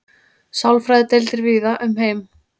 sálfræðideildir víða um heim